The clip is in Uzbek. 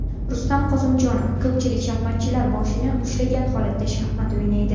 Rustam Qosimjonov: Ko‘pchilik shaxmatchilar boshini ushlagan holatda shaxmat o‘ynaydi.